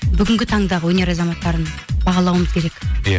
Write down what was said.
бүгінгі таңдағы өнер азаматтарын бағалауымыз керек иә